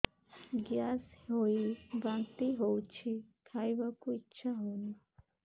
gas ହୋଇ ବାନ୍ତି ହଉଛି ଖାଇବାକୁ ଇଚ୍ଛା ହଉନି